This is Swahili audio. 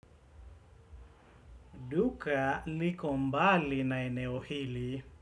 Duka liko mbali na eneo hili.